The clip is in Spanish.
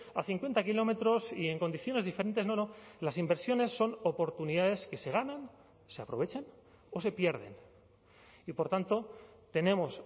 a cincuenta kilómetros y en condiciones diferentes no no las inversiones son oportunidades que se ganan se aprovechan o se pierden y por tanto tenemos